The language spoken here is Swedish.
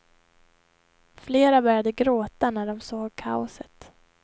Flera började gråta när de såg kaoset.